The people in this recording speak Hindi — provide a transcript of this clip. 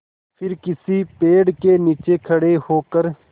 फिर किसी पेड़ के नीचे खड़े होकर